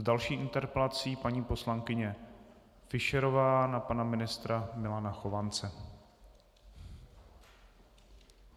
S další interpelací paní poslankyně Fischerová na pana ministra Milana Chovance.